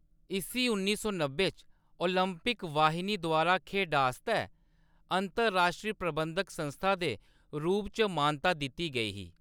इस्सी उन्नी सौ नब्बै च ओलंपिक वाहिनी द्वारा खेढा आस्तै अंतर-राश्ट्री प्रबंधक संस्था दे रूप च मानता दित्ती गेई ही।